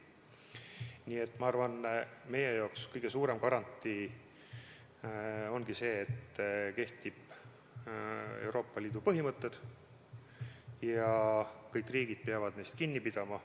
Nii et ma arvan, et meie jaoks kõige suurem garantii ongi see, et kehtivad Euroopa Liidu põhimõtted ja kõik riigid peavad neist kinni pidama.